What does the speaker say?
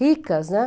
ricas, né?